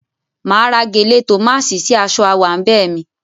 Máa ra gèlè tòmáṣì sí aṣọ áwàńbẹ̀ mi.